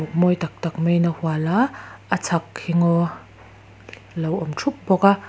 mawi tak tak mai in a hual a a chhak hi ngaw lo awm thup bawk a.